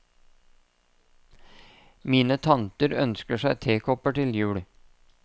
Mine tanter ønsket seg tekopper til jul.